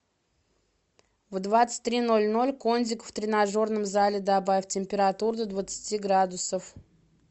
в двадцать три ноль ноль кондик в тренажерном зале добавь температуру до двадцати градусов